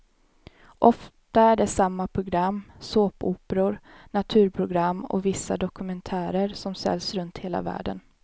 Ofta är det samma program, såpoperor, naturprogram och vissa dokumentärer som säljs runt hela världen.